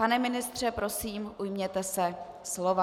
Pane ministře, prosím, ujměte se slova.